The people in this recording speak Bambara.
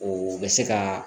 O bɛ se ka